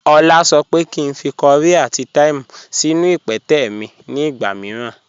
Ọla sọ pé kí n fí kọ̀ríì àti thyme sínú ìpẹtẹ̀ mi ni ìgba míìràn.